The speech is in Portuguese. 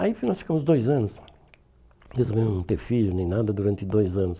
Aí nós ficamos dois anos, mesmo não ter filho, nem nada, durante dois anos.